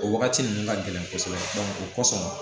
O wagati ninnu ka gɛlɛn kosɛbɛ o kosɔn